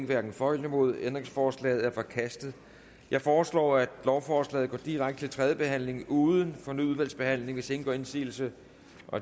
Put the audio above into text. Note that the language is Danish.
hverken for eller imod ændringsforslaget er forkastet jeg foreslår at lovforslaget går direkte til tredje behandling uden fornyet udvalgsbehandling hvis ingen gør indsigelse